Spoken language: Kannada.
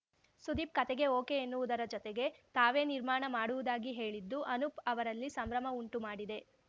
ಸುದೀಪ್‌ ಕತೆಗೆ ಓಕೆ ಎನ್ನುವುದರ ಜತೆಗೆ ತಾವೇ ನಿರ್ಮಾಣ ಮಾಡುವುದಾಗಿ ಹೇಳಿದ್ದು ಅನೂಪ್‌ ಅವರಲ್ಲಿ ಸಂಭ್ರಮ ಉಂಟು ಮಾಡಿದೆ